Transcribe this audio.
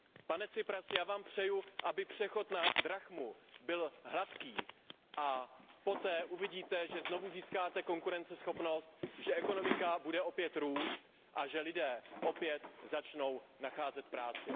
Pane Tsiprasi, já vám přeju, aby přechod na drachmu byl hladký a poté uvidíte, že znovu získáte konkurenceschopnost, že ekonomika bude opět růst a že lidé opět začnou nacházet práci.